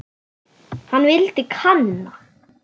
Hann vildi kanna.